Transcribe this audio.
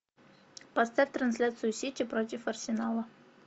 поставь трансляцию сити против арсенала